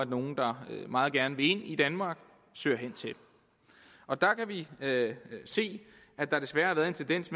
nogle der meget gerne vil ind i danmark søger hen til vi kan se at der desværre har været en tendens